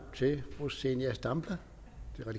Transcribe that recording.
til fru zenia stampe